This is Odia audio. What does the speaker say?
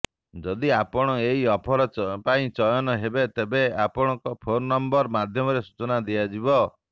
ଯଦି ଆପଣ ଏହି ଅଫର ପାଇଁ ଚୟନ ହେବେ ତେବେ ଆପଣଙ୍କ ଫୋନ୍ ନମ୍ବର ମାଧ୍ୟମରେ ସୂଚନା ଦିଆଯିବ